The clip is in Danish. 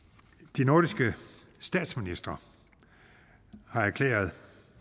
de nordiske statsministre har erklæret at